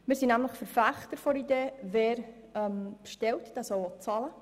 Wir sind nämlich Verfechter der Idee: wer bestellt, soll auch bezahlen.